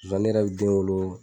zonzani yɛrɛ be den wolo